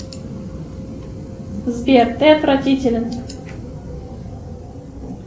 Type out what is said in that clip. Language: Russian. сбер ты отвратителен